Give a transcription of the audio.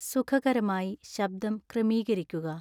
സുഖകരമായി ശബ്‌ദം ക്രമീകരിക്കുക